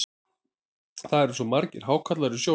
Það eru svo margir hákarlar í sjónum.